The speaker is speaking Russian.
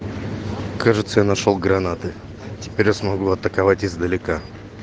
кажется я нашёл гранаты теперь я смогу атаковать издалека